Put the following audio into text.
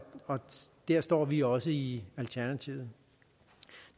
der står vi også i alternativet